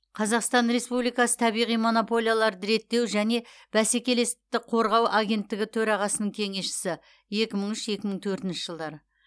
қазақстан республикасы табиғи монополияларды реттеу және бәскелестікті қорғау агенттігі төрағасының кеңесшісі екі мың үш екі мың төртінші жылдары